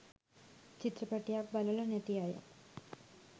චිත්‍රපටියක් බලලා නැති අය